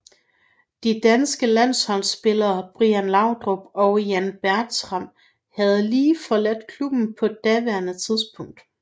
De danske landsholdsspillere Brian Laudrup og Jan Bartram havde lige forladt klubben på daværende tidspunkt